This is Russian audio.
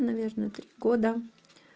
наверное три года